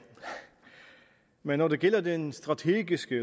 men når det gælder den strategiske